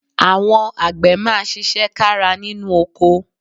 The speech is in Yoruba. Àwọn àgbẹ̀ máa ṣiṣẹ́ kára nínú oko